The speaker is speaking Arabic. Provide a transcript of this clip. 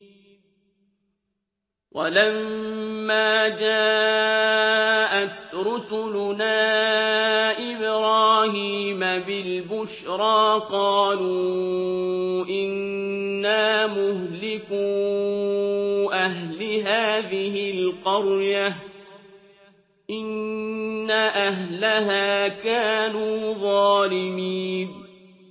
وَلَمَّا جَاءَتْ رُسُلُنَا إِبْرَاهِيمَ بِالْبُشْرَىٰ قَالُوا إِنَّا مُهْلِكُو أَهْلِ هَٰذِهِ الْقَرْيَةِ ۖ إِنَّ أَهْلَهَا كَانُوا ظَالِمِينَ